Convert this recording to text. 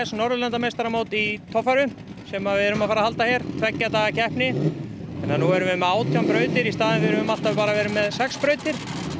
Norðurlandameistaramót í torfæru sem við erum að fara að halda hér tveggja daga keppni þannig að nú erum við með átján brautir í staðinn við höfum alltaf bara verið með sex brautir